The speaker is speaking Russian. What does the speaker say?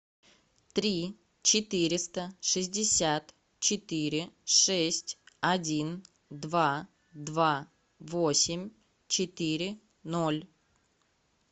три четыреста шестьдесят четыре шесть один два два восемь четыре ноль